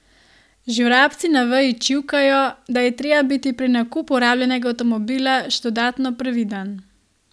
Že vrabci na veji čivkajo, da je treba biti pri nakupu rabljenega avtomobila še dodatno previden.